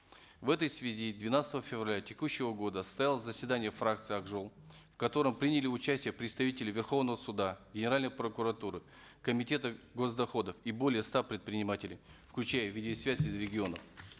в этой связи двенадцатого февраля текущего года состоялось заседание фракции ак жол в котором приняли участие представители верховного суда генеральной прокуратуры комитета гос доходов и более ста предпринимателей включая видеосвязь из регионов